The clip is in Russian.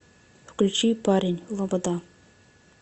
включи парень лобода